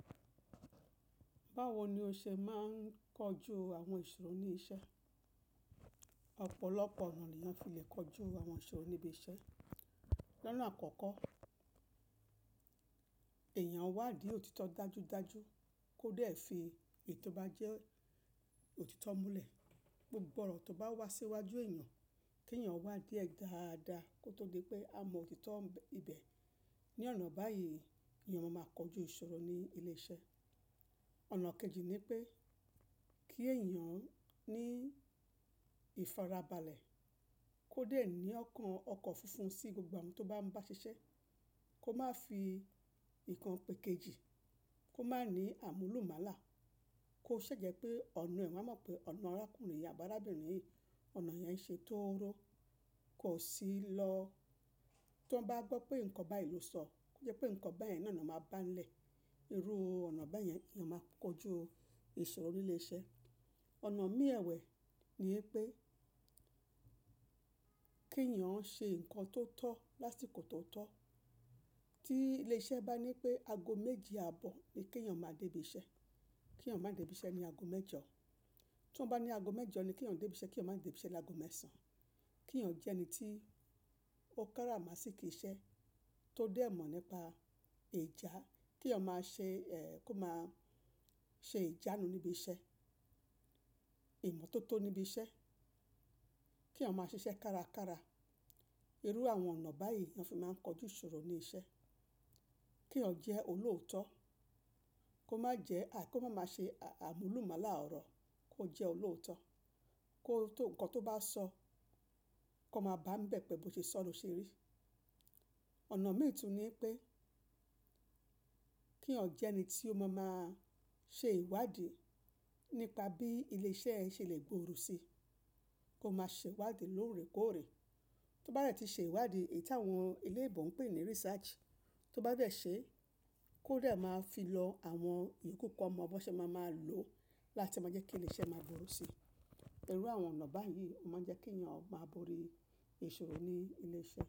Báwo ni o ṣe máa ń kojú àwọn ìṣòro ní iṣẹ́? Ọ̀pọ̀lọpọ̀ ọ̀nà ni a fi lè kojú àwọn ìṣòro íbi iṣẹ́. Ọ̀nà àkọ́kọ́, èèyàn wádìí òtítọ́ dájúdájú kó dẹ̀ fi èyí tó bá jẹ́ òtítọ́ múlẹ̀. Gbogbo ọ̀rọ̀ tó bá wá síwájú èèyàn kí èèyàn wádìí ẹ̀ dáadáa kó tó gbé pé a mọ òtítọ́ oro ibẹ̀. Ni ọ̀nà báyìí ni eyan máa kojú ìṣòro ní ilé iṣẹ́. Ọ̀nà kejì ni pé kí èèyàn ní ìfarabalẹ̀ kó dẹ̀ ní ọkàn ọkọ̀ funfun sí gbogbo ohun tó bá ń bá ṣiṣẹ́. Kó má fi ìkan pèkejì, kó má ní àmúlùmálà, kó ṣi jẹ́ pé ọ̀nà ẹ̀ won á mọ̀ pé ọ̀nà arákùnrin, àbi alabìrin yìí, ọ̀nà yẹn ṣe tóóró. Kó sì lọ, tí wọ́n bá gbọ́ pé nǹkan báyìí ló sọ, ó jẹ́ pé nǹkan báyẹn náà ni ó máa bá ń lẹ̀. Irú ọ̀nà báyẹn ni eyan máa kojú ìṣòro ní ilé iṣẹ́. Ọ̀nà mí ewe ni wipé kí èèyàn ṣe nǹkan tó tọ́ lásìkò tó tọ́. Tí ilé iṣẹ́ bá ní pé ago méje àbọ̀ ni kí èèyàn máa dé ibi iṣẹ́, kí èèyàn má dé ibi iṣẹ́ ní ago mẹ́jọ. Tí wọ́n bá ní ago mẹ́jọ ni kí èèyàn dé ibi iṣẹ́, kí èèyàn máa dé ibi iṣẹ́ ní ago mẹ́sàn-án. Kí èèyàn jẹ́ ẹni tí ó káramasikí iṣẹ́, tó dẹ̀ mọ̀ nípa ìjà, kí èèyàn má ṣe ẹ́ kó má ṣe ìjánu níbi iṣẹ́, ìmọ́tótó níbi iṣẹ́. Kí èèyàn má ṣiṣẹ́ kárakára. Irú àwọn ọ̀nà báyìí ni a fi máa ń kojú ìṣòro ní iṣẹ́. Kí èèyàn jẹ́ olóòótọ́, kó má jẹ́ àí, kó má má ṣe àmúlùmálà ọ̀rọ̀, kó jẹ́ olóòótọ́. Kó tó nǹkan tó bá sọ, kó má bá ń bẹ̀ pẹ̀ bọ́ ṣe sọ́ ni ó ṣe rí. Ọ̀nà mii tun ni pé kí eyan jẹ́ ẹni tí ó máa máa ṣe ìwádìí nípa bí ilé iṣẹ́ ṣe lè gbòòrò si. Kó má ṣe ìwádìí lóòrèkóòrè. Tó bá dẹ̀ ti ṣe ìwádìí, èyí tí àwọn oloyinbò ń pè ní research, tó bá bẹ̀ ṣe kó dẹ̀ má fi lọ àwọn ìyooku kan mọ bi won se máa máa lò láti máa jẹ́ kí ilé iṣẹ́ má gbòòrò si. Irú àwọn ọ̀nà báyìí o máa ń jẹ́ kí èèyàn máa borí ìṣòro ní ilé iṣẹ́